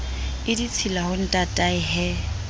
e ditshila ho ntatae he